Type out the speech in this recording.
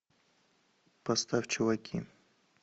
поставь чуваки